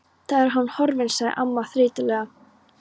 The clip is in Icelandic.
Þá er hann horfinn sagði amman þreytulega.